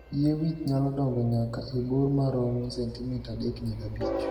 Yie wich nyalo dong'o nyaka e bor maromo 3-5 cm